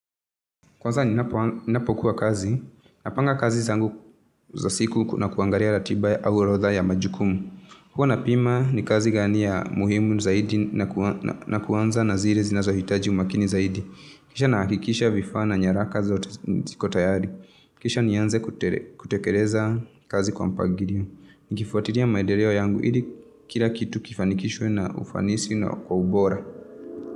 Kwanza ninapokuwa kazi. Napanga kazi zangu za siku na kuangalia ratiba au orodha ya majukumu. Huwa napima ni kazi gani ya umuhimu zaidi na kuanza na zile zinahitaji umakini zaidi. Kisha nahakikisha vifaa na nyaraka zote ziko tayari. Kisha nianze kutekeleza kazi kwa mpangilio. Nikifuatilia maendeleo yangu ili kila kitu kifanikishwe na ufanisi na ubora.